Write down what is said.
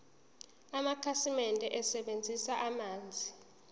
amakhasimende asebenzisa amanzi